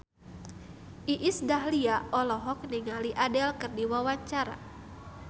Iis Dahlia olohok ningali Adele keur diwawancara